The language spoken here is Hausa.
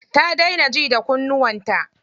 Ta daina ji da kunnuwan ta.